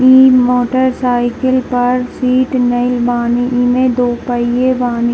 तीन motorcycle पर seat नई बानी इमें दो पहिए बानी।